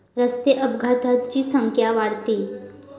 रस्ते अपघातांची संख्या वाढतेय